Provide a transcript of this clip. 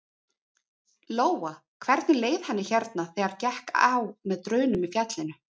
Lóa: Hvernig leið henni hérna þegar gekk á með drunum í fjallinu?